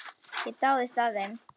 Ég dáðist að þeim.